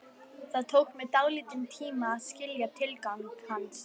Það tók mig dálítinn tíma að skilja tilgang hans.